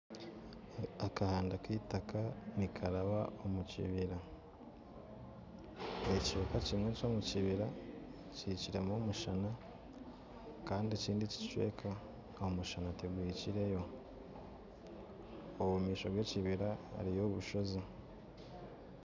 Akahanda k'eitaka nikaraba omu kibira, ekicweka kimwe ky'omukibira kihikiremu omushana kandi ekindi ekicweka omushana tigukahikireyo, omumaisho g'ekibira hariyo obushozi.